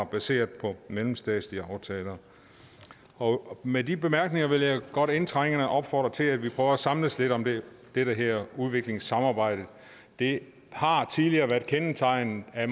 baseret på mellemstatslige aftaler med de bemærkninger vil jeg godt indtrængende opfordre til at vi prøver at samles lidt om det her udviklingssamarbejde det har tidligere været kendetegnet af